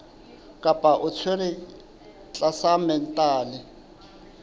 kapa o tshwerwe tlasa mental